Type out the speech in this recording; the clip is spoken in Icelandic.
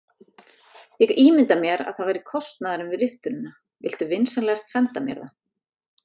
Ég ímynda mér að það væri kostnaðurinn við riftunina, viltu vinsamlegast senda mér það?